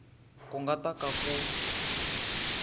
ku nga ta ka ku